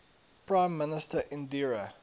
prime minister indira